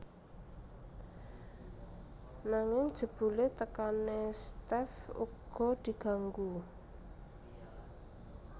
Nanging jebule tekane Steff uga diganggu